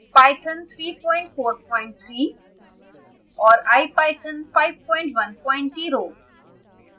python 343 और ipython 510